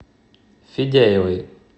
федяевой